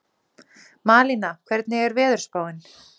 Malína, hvernig er veðurspáin?